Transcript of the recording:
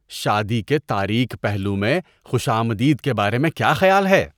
شادی کے تاریک پہلو میں خوش آمدید کے بارے میں کیا خیال ہے